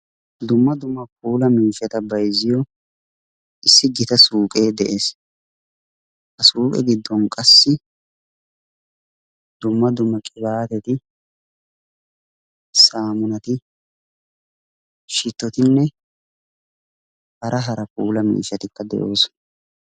dumma dumma puula miishshata bayzziyo issi gitaa suuqe de'ees. ha suuqe giddon qassi dumma dumma qibatetti, saamunati, shitottinne hara hara puulaa miishshatikka de'oosona.